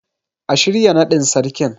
A shirya naɗin Sarkin.